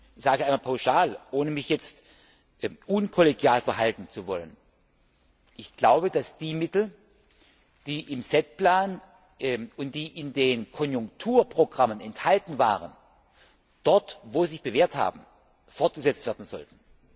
Ich sage einmal pauschal, ohne mich unkollegial verhalten zu wollen Ich glaube, dass die Mittel, die im SET Plan und in den Konjunkturprogrammen enthalten waren, dort, wo sie sich bewährt haben, fortgesetzt werden sollten.